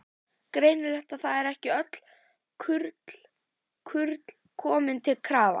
Greinilegt að það eru ekki öll kurl komin til grafar!